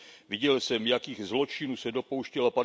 Viděl jsem, jakých zločinů se dopouštěla